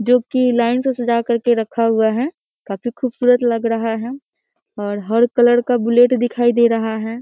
जो की लाइन से सजा करके रखा हुआ है काफी खुबसूरत लग रहा है और हर कलर का बुलेट दिखाई दे रहा है।